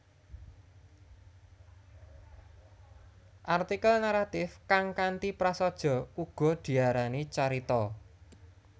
Artikel naratif kang kanthi prasaja uga diarani carita